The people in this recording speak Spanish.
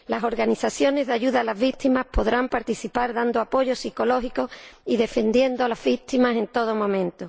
Las organizaciones de ayuda a las víctimas podrán participar dando apoyo psicológico y defendiendo a las víctimas en todo momento.